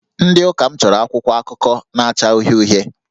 Ndị Ụka m chọrọ akwụkwọ akụkọ na-acha uhie uhie